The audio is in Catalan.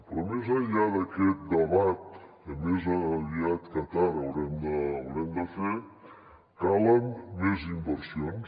però més enllà d’aquest debat que més aviat que tard haurem de fer calen més inversions